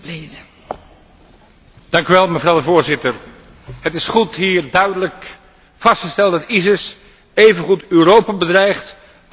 Het is goed hier duidelijk vast te stellen dat ISIS evengoed Europa bedreigt als religieuze en etnische minderheden in Syrië en Irak.